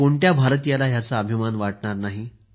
कोणत्या भारतीयाला ह्याचा अभिमान वाटणार नाही